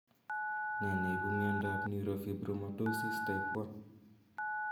Ne ne ipu miando ap neurofibromatosis type 1?